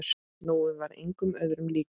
Nói var engum öðrum líkur.